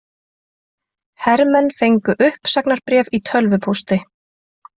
Hermenn fengu uppsagnarbréf í tölvupósti